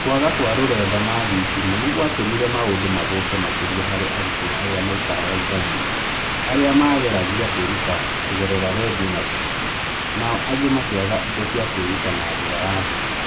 Kwaga kwa r ũrenda na thitima nĩ gwatũmire maũndũ mathũke makĩria harĩ arutwo arĩa maikaraga icagi-inĩ, arĩa maageragia kwĩruta kũgerera redio na TV, nao angĩ makĩaga indo cia kwĩruta na njĩra ya thimũ.